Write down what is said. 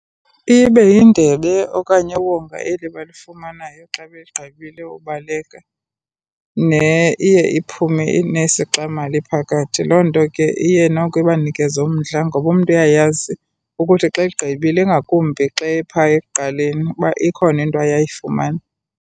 Ibe yindebe okanye iwonga eli balifumanayo xa begqibile ubaleka neiye iphume inesixamali phakathi. Loo nto ke iye noko ibanikeze umdla ngoba umntu uyayazi ukuthi xa egqibile, ingakumbi xa epha ekuqaleni, uba ikhona into aye ayifumane.